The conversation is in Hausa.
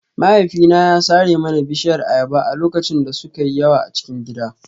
Mahaifina ya sare mana bishiyar ayaba a lokacin da suka yi yawa a cikin gidan